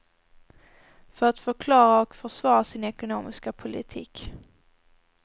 För att förklara och försvara sin ekonomiska politik.